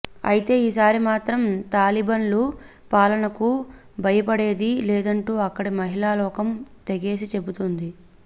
అయితే ఈ సారి మాత్రం తాలిబన్ల పాలనకు భయపడేది లేదంటూ అక్కడి మహిళాలోకం తెగేసి చెబుతోంది